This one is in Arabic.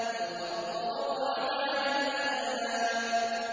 وَالْأَرْضَ وَضَعَهَا لِلْأَنَامِ